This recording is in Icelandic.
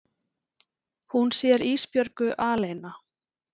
Hún sér Ísbjörgu aleina.